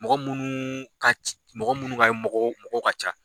Mɔgɔ munnu ka mɔgɔ munnu ka mɔgɔw mɔgɔ ka ca.